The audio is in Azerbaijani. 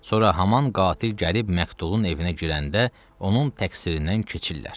Sonra haman qatil gəlib məktulun evinə girəndə onun təqsirindən keçirlər.